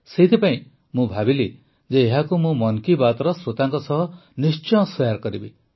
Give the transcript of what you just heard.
ସେଥିପାଇଁ ମୁଁ ଭାବିଲି ଯେ ଏହାକୁ ମୁଁ ମନ୍ କୀ ବାତ୍ର ଶ୍ରୋତାଙ୍କ ସହ ନିଶ୍ଚୟ ସେୟାର କରିବି